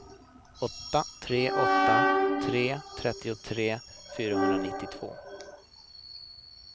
åtta tre åtta tre trettiotre fyrahundranittiotvå